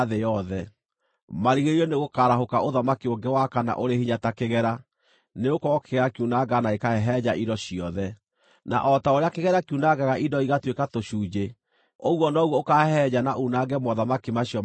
Marigĩrĩrio-inĩ nĩgũkarahũka ũthamaki ũngĩ wa kana ũrĩ hinya ta kĩgera, nĩgũkorwo kĩgera kiunangaga na gĩkahehenja indo ciothe, na o ta ũrĩa kĩgera kiunangaga indo igatuĩka tũcunjĩ ũguo noguo ũkaahehenja na uunange mothamaki macio mangĩ mothe.